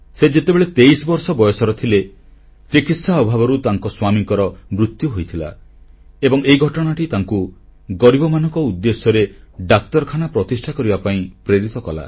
ସେ ଯେତେବେଳେ 23ବର୍ଷ ବୟସର ଥିଲେ ଚିକିତ୍ସା ଅଭାବରୁ ତାଙ୍କ ସ୍ୱାମୀଙ୍କର ମୃତ୍ୟୁ ହୋଇଥିଲା ଏବଂ ଏହି ଘଟଣାଟି ତାଙ୍କୁ ଗରିବମାନଙ୍କ ଉଦ୍ଦେଶ୍ୟରେ ଡାକ୍ତରଖାନା ପ୍ରତିଷ୍ଠା କରିବା ପାଇଁ ପ୍ରେରିତ କଲା